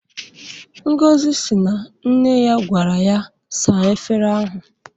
Ngozi si na nne ya gwara ya saa efere ahụ.